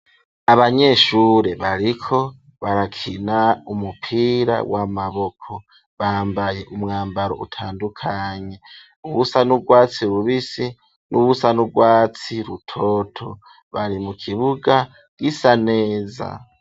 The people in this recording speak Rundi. Abanyeshure bariko barakina umupira w'amaboko bambaye umwambaro utandukanye ,uwusa n’ugwatsi rubisi n'uwusa n’urwatsi rutoto bari mu kibuga gisa neza.